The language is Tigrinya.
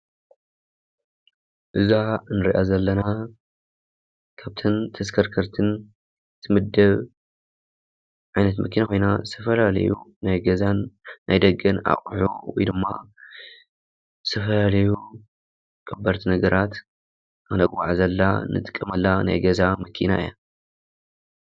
እዛ ንሪኣ ዘለና ካብተን ተሽከርከርትን ትምደብ ዓይነት መኪና ኮይና ዝተፈላለዩ ናይ ገዛን ናይ ደገን ኣቑሑ ወይ ድማ ዝተፈላለዩ ከበድቲ ነገራት ክነጓዓዕዘላ ንጥቀመላ ናይ ገዛ መኪና እያ፡፡